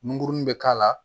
Nguruni be k'a la